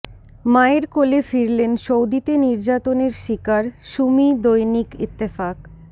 মায়ের কোলে ফিরলেন সৌদিতে নির্যাতনের শিকার সুমি দৈনিক ইত্তেফাক